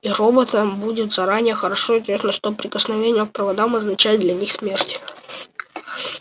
и роботам будет заранее хорошо известно что прикосновение к проводам означает для них смерть